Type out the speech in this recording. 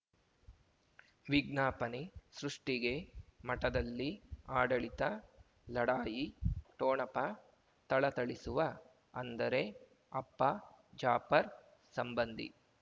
ವಿಜ್ಞಾಪನೆ ಸೃಷ್ಟಿಗೆ ಮಠದಲ್ಲಿ ಆಡಳಿತ ಲಢಾಯಿ ಠೊಣಪ ಥಳಥಳಿಸುವ ಅಂದರೆ ಅಪ್ಪ ಜಾಫರ್ ಸಂಬಂಧಿ